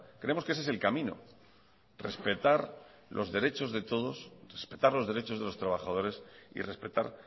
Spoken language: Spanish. creemos que ese es el camino respetar los derechos de todos respetar los derechos de los trabajadores y respetar